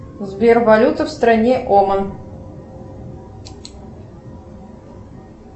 сбер валюта в стране оман